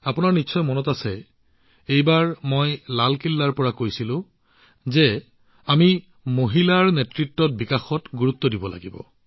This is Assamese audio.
আপোনালোকৰ মনত আছে এইবাৰ মই লালকিল্লাৰ পৰা কৈছিলো যে আমি মহিলাকেন্দ্ৰিক উন্নয়নক ৰাষ্ট্ৰীয় চৰিত্ৰ হিচাপে শক্তিশালী কৰিব লাগিব